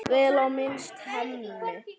Vel á minnst: Hemmi.